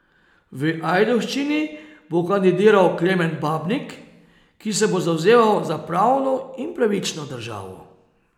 V Ajdovščini bo kandidiral Klemen Babnik, ki se bo zavzemal za pravno in pravično državo.